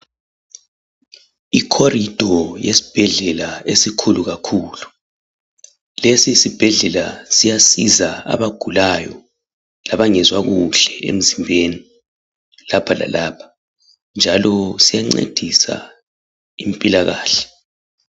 Ikhorido yesibhedlela esikhulu kakhulu lesi sibhedlela siyasiza abagulayo labangezwa kuhle emzimbeni lapha lalapha njalo siyancedisa impilakahle.